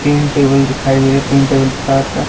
तीन टेबल दिखाई दे रहे तीन टेबल के साथ--